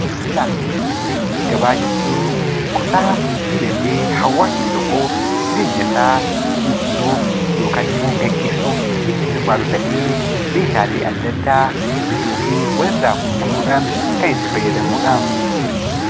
Daldalaa fi gabaa jechuun kutaa dinagdee hawaasni tokko jireenya isaa jijjiiruuf yookaan immoo gaggeessuuf itti hirmaatu ta'ee, meeshaalee adda addaa bituu fi walirraa gurguruudhaan kan itti fayyadamnudha.